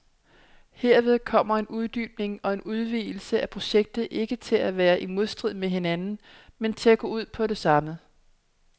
Herved kommer en uddybning og en udvidelse af projektet ikke til at være i modstrid med hinanden, men til at gå ud på det samme.